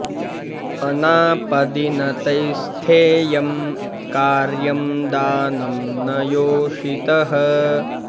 अनापदि न तैः स्थेयं कार्यं दानं न योषितः